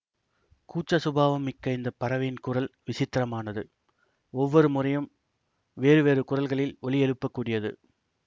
கூச்ச சுபாவம் மிக்க இந்த பறவையின் குரல் விசித்திரமானது ஒவ்வொரு முறையும் வேறுவேறு குரல்களில் ஒலி எழுப்பக்கூடியது